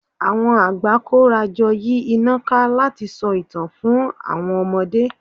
Àwọn àgbà kóra jọ yí iná ká láti sọ ìtàn fún àwọn ọmọdé